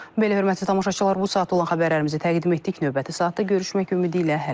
Belə hörmətli tamaşaçılar, bu saata olan xəbərlərimizi təqdim etdik, növbəti saatda görüşmək ümidi ilə hələlik.